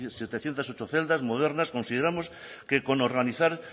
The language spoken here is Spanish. setecientos ocho celdas modernas consideramos que con organizar